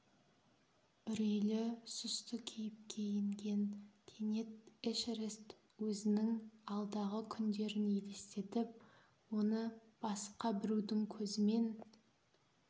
үрейлі сұсты кейіпке енген кенет эшерест өзінің алдағы күндерін елестетіп оны басқа бірудің көзімен